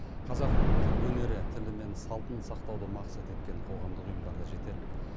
қазақ өнері тілі мен салтын сақтауды мақсат еткен қоғамдық ұйымдар да жетерлік